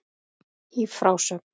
Í frásögn